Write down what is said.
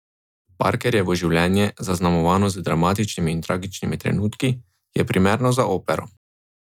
Parkerjevo življenje, zaznamovano z dramatičnimi in tragičnimi trenutki, je primerno za opero.